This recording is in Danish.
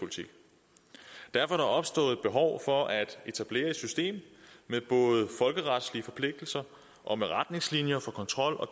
derfor er der opstået et behov for at etablere et system med både folkeretslige forpligtelser og med retningslinjer for kontrol og